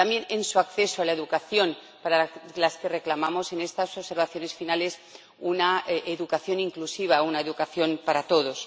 también en su acceso a la educación, para la que reclamamos en estas observaciones finales una educación inclusiva, una educación para todos.